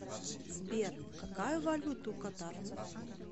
сбер какая валюта у катарцев